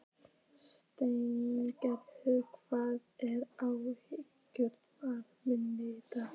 Sveingerður, hvað er á áætluninni minni í dag?